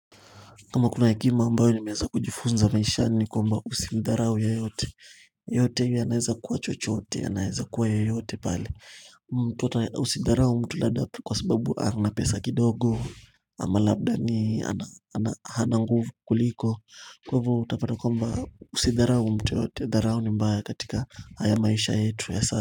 Kama kuna hekima ambayo nimeza kujifunza maishani ni kwamba husimdharau yeyote. Yote yanaweza kuwa chochote yanaeza kuwa yoyote pale. Mtu ata husidharau mtu labda kwa sababu ana pesa kidogo. Ama labda ni ana ana hana nguvu kuliko kwa hivo utapata kwamba usidharau mtu yote ya dharau ni mbaya katika haya maisha yetu ya sa.